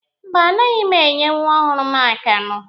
Mba, anaghị m enye nwa ọhụrụ m akamụ.